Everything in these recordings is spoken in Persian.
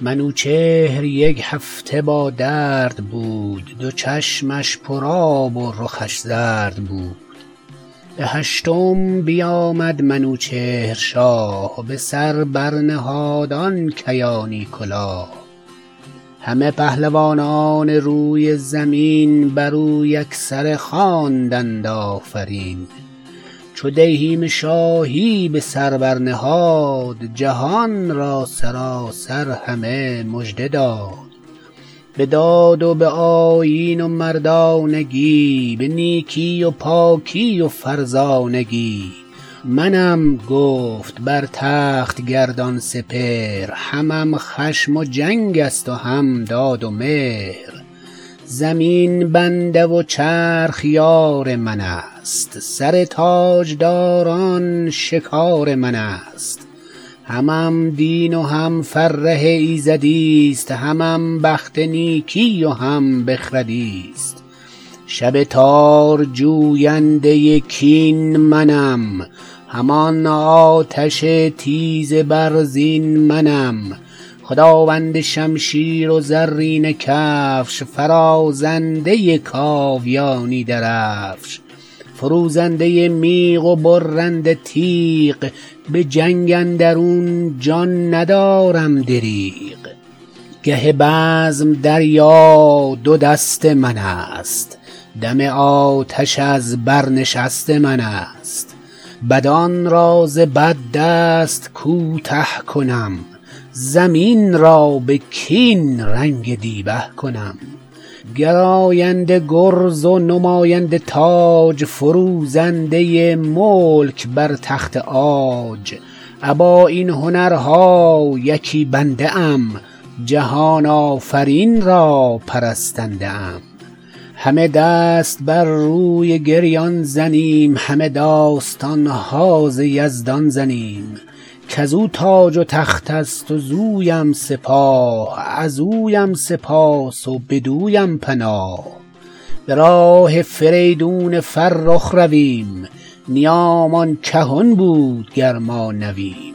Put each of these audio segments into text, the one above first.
منوچهر یک هفته با درد بود دو چشمش پر آب و رخش زرد بود به هشتم بیامد منوچهر شاه به سر بر نهاد آن کیانی کلاه همه پهلوانان روی زمین بر او یکسره خواندند آفرین چو دیهیم شاهی به سر بر نهاد جهان را سراسر همه مژده داد به داد و به آیین و مردانگی به نیکی و پاکی و فرزانگی منم گفت بر تخت گردان سپهر همم خشم و جنگ است و هم داد و مهر زمین بنده و چرخ یار من است سر تاجداران شکار من است همم دین و هم فره ایزدیست همم بخت نیکی و هم بخردیست شب تار جوینده کین منم همان آتش تیز برزین منم خداوند شمشیر و زرینه کفش فرازنده کاویانی درفش فروزنده میغ و برنده تیغ به جنگ اندرون جان ندارم دریغ گه بزم دریا دو دست من است دم آتش از بر نشست من است بدان را ز بد دست کوته کنم زمین را به کین رنگ دیبه کنم گراینده گرز و نماینده تاج فروزنده ملک بر تخت عاج ابا این هنرها یکی بنده ام جهان آفرین را پرستنده ام همه دست بر روی گریان زنیم همه داستان ها ز یزدان زنیم کز او تاج و تخت است ز اویم سپاه از اویم سپاس و بدویم پناه به راه فریدون فرخ رویم نیامان کهن بود گر ما نویم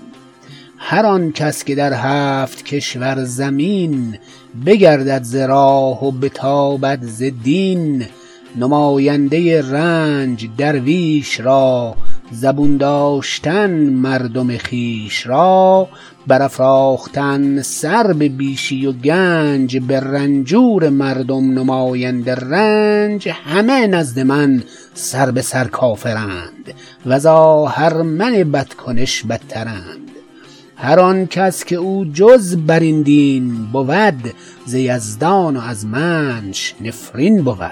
هر آن کس که در هفت کشور زمین بگردد ز راه و بتابد ز دین نماینده رنج درویش را زبون داشتن مردم خویش را برافراختن سر به بیشی و گنج به رنجور مردم نماینده رنج همه نزد من سر به سر کافرند و ز آهرمن بدکنش بدترند هر آن کس که او جز بر این دین بود ز یزدان و از منش نفرین بود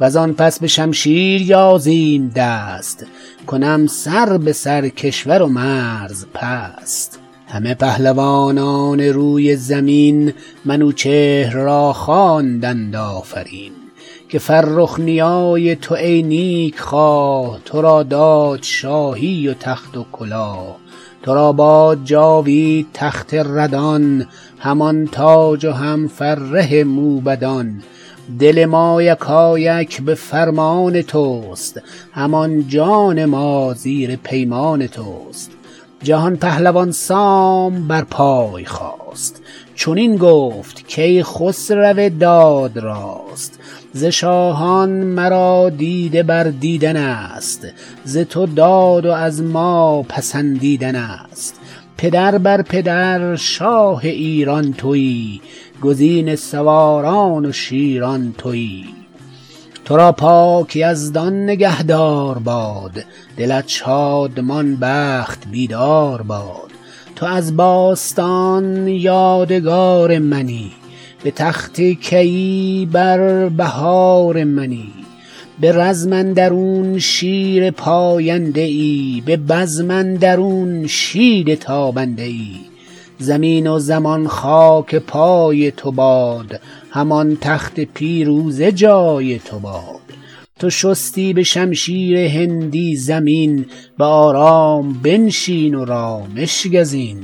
و زان پس به شمشیر یازیم دست کنم سر به سر کشور و مرز پست همه پهلوانان روی زمین منوچهر را خواندند آفرین که فرخ نیای تو ای نیک خواه تو را داد شاهی و تخت و کلاه تو را باد جاوید تخت ردان همان تاج و هم فره موبدان دل ما یکایک به فرمان تو است همان جان ما زیر پیمان تو است جهان پهلوان سام بر پای خاست چنین گفت کای خسرو داد راست ز شاهان مرا دیده بر دیدن است ز تو داد و از ما پسندیدن است پدر بر پدر شاه ایران تویی گزین سواران و شیران تویی تو را پاک یزدان نگه دار باد دلت شادمان بخت بیدار باد تو از باستان یادگار منی به تخت کیی بر بهار منی به رزم اندرون شیر پاینده ای به بزم اندرون شید تابنده ای زمین و زمان خاک پای تو باد همان تخت پیروزه جای تو باد تو شستی به شمشیر هندی زمین به آرام بنشین و رامش گزین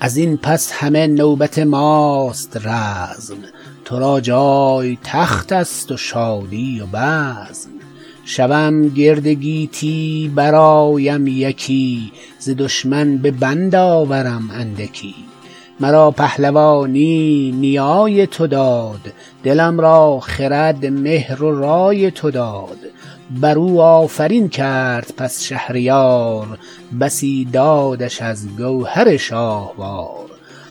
از این پس همه نوبت ماست رزم تو را جای تخت است و شادی و بزم شوم گرد گیتی برآیم یکی ز دشمن به بند آورم اندکی مرا پهلوانی نیای تو داد دلم را خرد مهر و رای تو داد بر او آفرین کرد بس شهریار بسی دادش از گوهر شاهوار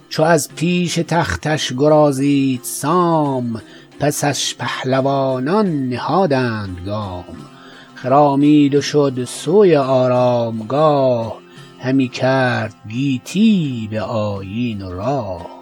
چو از پیش تختش گرازید سام پسش پهلوانان نهادند گام خرامید و شد سوی آرامگاه همی کرد گیتی به آیین و راه